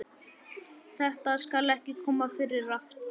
Þetta skal ekki koma fyrir aftur.